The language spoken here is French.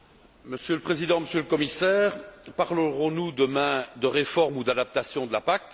Monsieur le Président, Monsieur le Commissaire, parlerons nous demain de réforme ou d'adaptation de la PAC?